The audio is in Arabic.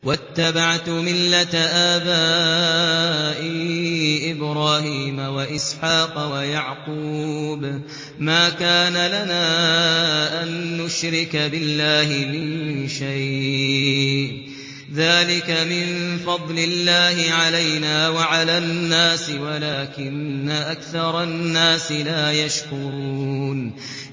وَاتَّبَعْتُ مِلَّةَ آبَائِي إِبْرَاهِيمَ وَإِسْحَاقَ وَيَعْقُوبَ ۚ مَا كَانَ لَنَا أَن نُّشْرِكَ بِاللَّهِ مِن شَيْءٍ ۚ ذَٰلِكَ مِن فَضْلِ اللَّهِ عَلَيْنَا وَعَلَى النَّاسِ وَلَٰكِنَّ أَكْثَرَ النَّاسِ لَا يَشْكُرُونَ